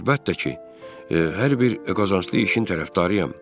Mən əlbəttə ki, hər bir qazanclı işin tərəfdarıyam.